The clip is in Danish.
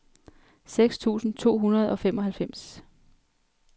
seks tusind to hundrede og femoghalvfems